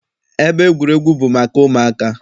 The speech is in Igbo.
Ebe egwuregwu bụ maka ụmụaka.